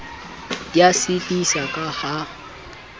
di a sitisa ka ha